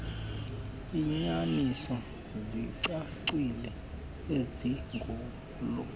iinyaniso zicacile izigulo